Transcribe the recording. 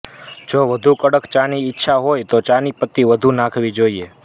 જો વધુ કડક ચાની ઇચ્છા હોય તો ચાની પતી વધુ નાખવી જોઇએ